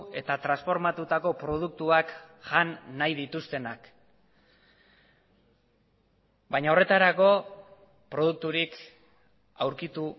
eta transformatutako produktuak jan nahi dituztenak baina horretarako produkturik aurkitu